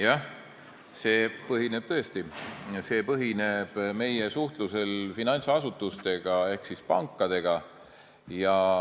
Jah, see põhineb tõesti meie suhtlusel finantsasutustega ehk pankadega.